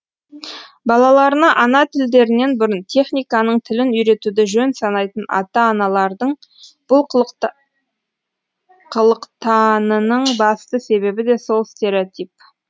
балаларына ана тілдерінен бұрын техниканың тілін үйретуді жөн санайтын ата аналардың бұл қылықтанының басты себебі де сол стереотип